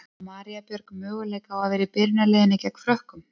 En á María Björg möguleika á að vera í byrjunarliðinu gegn Frökkum?